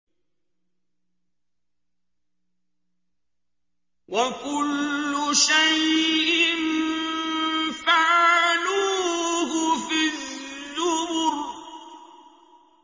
وَكُلُّ شَيْءٍ فَعَلُوهُ فِي الزُّبُرِ